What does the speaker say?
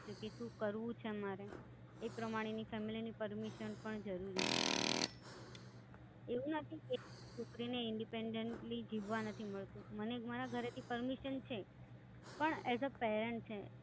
પછી શું કરવું છે મારે એ પ્રમાણેની Family Permission પણ જરૂરી છે. એવું નથી કે છોકરીને Independently જીવવા નથી મળતું મને મારા ઘરે થી પરમિશન છે પણ એઝ પેરેન્ટ્સ છે.